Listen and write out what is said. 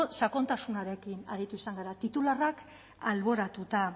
sakontasunarekin aritu izan gara titularrak alboratuta